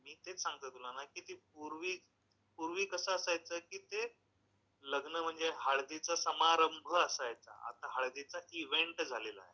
नाही नाही मी तेच सांगतो ना तुला कि ती पूर्वी कसं असायचं की ते लग्न म्हणजे हळदीचा समारंभ असायचा आता हळदीचा इव्हेंट झालेला आहे.